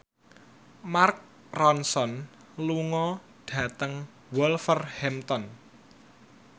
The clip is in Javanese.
Mark Ronson lunga dhateng Wolverhampton